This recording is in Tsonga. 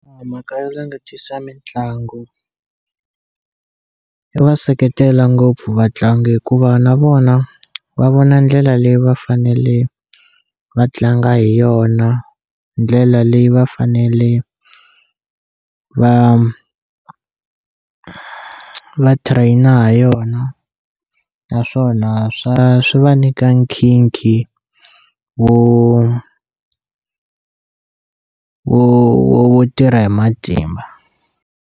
Mhaka yo langutisa mitlangu i va seketela ngopfu vatlangi hikuva na vona va vona ndlela leyi va fanele va tlanga hi yona ndlela leyi va fanele va va train-a ha yona naswona swa swi va nYika nkhinkhi wo wo wo tirha hi matimba.